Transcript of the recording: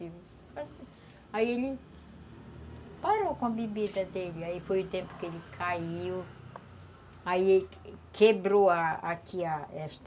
Aí ele parou com a bebida dele, aí foi o tempo que ele caiu, aí quebrou aqui esta...